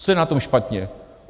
Co je na tom špatně?